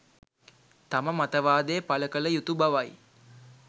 තම මතවාදය පළ කළ යුතු බවයි